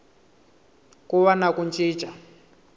ku va na ku cinca